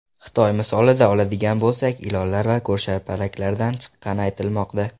Xitoy misolida oladigan bo‘lsak, ilonlar va ko‘rshapalaklardan chiqqani aytilmoqda.